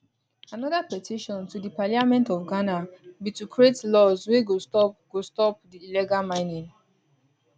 anoda petition to di parliament of ghana be to create laws wey go stop go stop di illegal mining